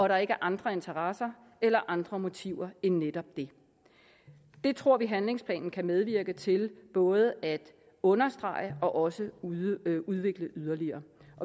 der ikke er andre interesser eller andre motiver end netop det det tror vi handlingsplanen kan medvirke til både at understrege og også at udvikle yderligere